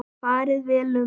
Farið vel um mig?